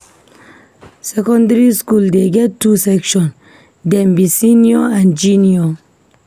Secondary skool dey get two section, dem be senior and junior.